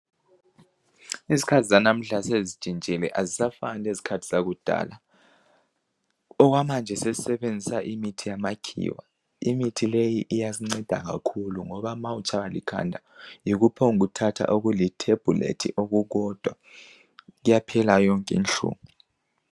Izikhathi lanamuhla sezitshitshile azisafani lezikhathi zakudala. Okwamanje sesisebenzisa imithi yamakhiwa. Imithi leyi iyasinceda kakhulu ngoba nxa itshaywa likhanda uphonguthatha okulithembulethi okukodwa kuyaphela yonke inhlungu.